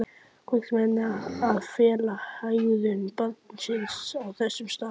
Hvers vegna að fela hegðun barnsins á þessum stað?